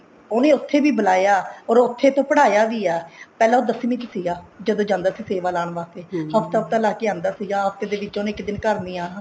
ਉਹਨੇ ਉੱਥੇ ਵੀ ਬੁਲਾਇਆ or ਉੱਥੇ ਤੋਂ ਪੜਾਇਆ ਵੀ ਆ ਪਹਿਲਾਂ ਉਹ ਦਸਵੀਂ ਚ ਸੀਗਾ ਜਦੋਂ ਜਾਂਦਾ ਸੀ ਸੇਵਾ ਲਾਉਣ ਵਾਸਤੇ ਹਫਤਾ ਹਫਤਾ ਲਾਕੇ ਆਉਂਦਾ ਸੀਗਾ ਹਫਤੇ ਦੇ ਵਿੱਚ ਉਹਨੇ ਇੱਕ ਦਿਨ ਘਰ ਨੀ ਆਉਣਾ